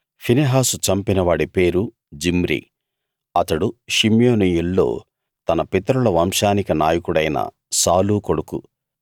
ఫినెహాసు చంపినవాడి పేరు జిమ్రీ అతడు షిమ్యోనీయుల్లో తన పితరుల వంశానికి నాయకుడైన సాలూ కొడుకు